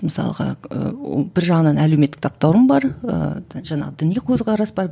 мысалға ііі бір жағынан әлеуметтік таптауырын бар ііі жаңағы діни көзқарас бар